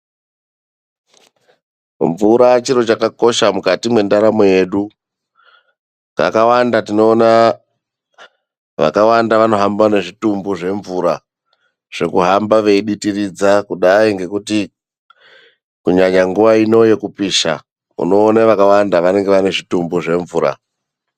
Mvura chiro chakakosha mukati mwendaramo yedu. Kakawanda tinoona vakawanda vanohamba nezvitumbu zvemvura, zvekuhamba veiditiridza kudai ngekuti kunyanya nguva ino yekupisha unoona vakawanda vanenge vane zvitumbu zvemvura.